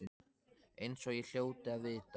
Eins og ég hljóti að vita.